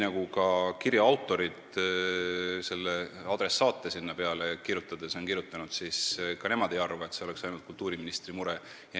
Nii nagu ka kirja autorid adressaate kirja pannes on näidanud, ka nemad ei arva, nagu see oleks ainult kultuuriministri mure.